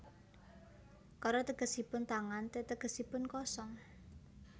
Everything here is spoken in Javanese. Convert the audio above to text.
Kara tegesipun tangan te tegesipun kosong